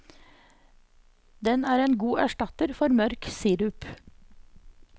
Den er en god erstatter for mørk sirup.